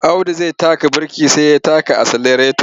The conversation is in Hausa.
Audu zai taka birki sai taka aselareto.